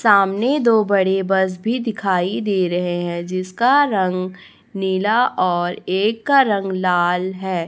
सामने दो बड़े बस भी दिखाई दे रहे हैं जिसका रंग नीला और एक का रंग लाल है।